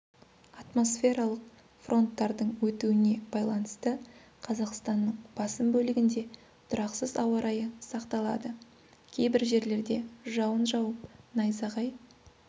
атмосфералық фронттардың өтуіне байланысты қазақстанның басым бөлігінде тұрақсыз ауа райы сақталады кейбір жерлерде жауын жауып найзағай